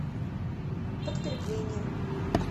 подкрепление